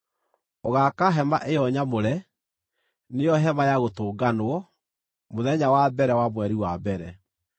“Ũgaaka hema ĩyo nyamũre, nĩo Hema-ya-Gũtũnganwo, mũthenya wa mbere wa mweri wa mbere.